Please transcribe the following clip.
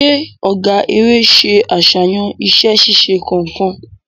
Ṣe ọgá eré ṣe aṣayan iṣẹ-ṣiṣe kánkan?